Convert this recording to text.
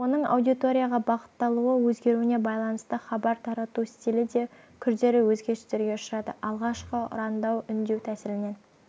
оның аудиторияға бағытталуы өзгеруіне байланысты хабар тарату стилі де күрделі өзгерістерге ұшырады алғашқы ұрандау үндеу тәсілінен